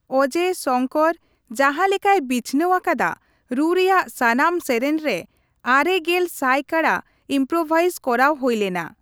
ᱚᱡᱮ, ᱥᱚᱝᱠᱚᱨ ᱡᱟᱸᱦᱟ ᱞᱮᱠᱟᱭ ᱵᱤᱪᱷᱱᱟᱹᱣ ᱟᱠᱟᱫᱟ, ᱨᱩ ᱨᱮᱭᱟᱜ ᱥᱟᱱᱟᱢ ᱥᱮᱨᱮᱧ ᱨᱮ ᱙᱐ ᱥᱟᱭ ᱠᱟᱲᱟ ᱤᱢᱯᱨᱳᱵᱷᱟᱭᱤᱡ ᱠᱚᱨᱟᱣ ᱦᱩᱭ ᱞᱮᱱᱟ ᱾